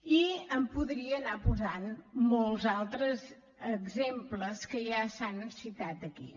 i en podria anar posant molts altres exemples que ja s’han citat aquí